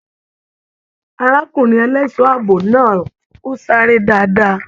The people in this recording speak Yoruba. Arákùnrin ẹlẹṣọ ààbò náà o sáré dáadáa.